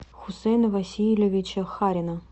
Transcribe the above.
хусейна васильевича харина